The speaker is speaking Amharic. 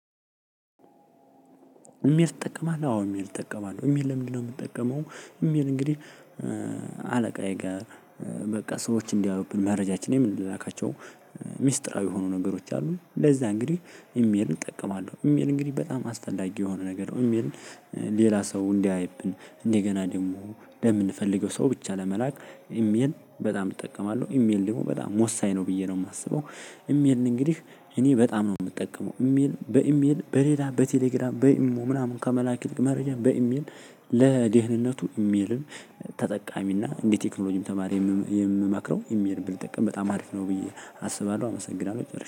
ኢሜል ትጠቀማለህ አዎ ኢሜል እጠቀማለሁ ኢሜል ለምንድነው የምጠቀመው? ኢሜል እንግዲህ አለቃዬ ጋር በቃ ሰዎች እንዳያዩብን መረጃችን የምንላላካቸውን ሚስጥራዊ የሆኑ ነገሮች አሉ ለዛ እንግዲህ ኢሜልን እጠቀማለሁ። ኢሜል እንግዲህ በጣም አስፈላጊ የሆነ ነገር ነው። ኢሜልን ሌላ ሰው እንዳያይብን እንደገና ደግሞ ለምንፈልገው ሰው ብቻ ለመላክ ኢሜል በጣም እጠቀማለሁ። ኢሜል ደግሞ በጣም ወሳኝ ነው ብዬ ነው የማስበው። ኢሜልን እንግዲህ እኔ በጣም ነው የምጠቀመው። ኢሜል በኢሜል በሌላ በቴሌግራም በኢሞ ምናምን ከመላክ መረጃ በኢሜል። ለደህንነቱ ኢሜልን ተጠቃሚና እንደ ቴክኖሎጂም ተማሪ የምመክረው ኢሜልን ብንጠቀም በጣም አሪፍ ነው ብዬ አስባለሁ። አመሰግናለሁ ጨርሻለው